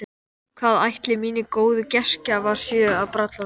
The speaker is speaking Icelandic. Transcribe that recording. Hvað ætli mínir góðu gestgjafar séu að bralla núna?